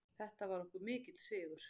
Þetta var okkur mikill sigur.